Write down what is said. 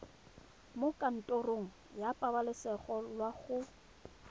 mo kantorong ya pabalesego loago